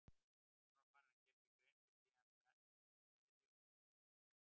Hann var farinn að gera sér grein fyrir því að hann stæði og félli með